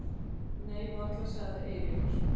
Nei varla sagði Eiríkur.